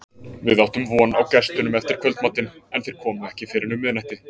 Við áttum von á gestunum eftir kvöldmatinn, en þeir komu ekki fyrr en um miðnætti.